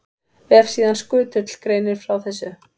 Vefsíðan Skutull greinir frá þessu.